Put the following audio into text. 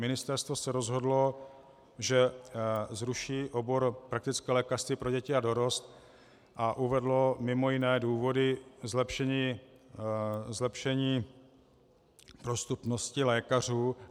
Ministerstvo se rozhodlo, že zruší obor praktické lékařství pro děti a dorost, a uvedlo mimo jiné důvody zlepšení dostupnosti lékařů.